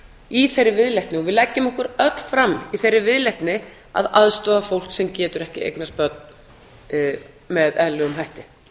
í þeirri viðleitni og við leggjum okkur öll fram í þeirri viðleitni að aðstoða fólk sem getur ekki eignast börn með eðlilegum hætti